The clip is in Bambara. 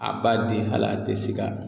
A b'a di hal'a te sika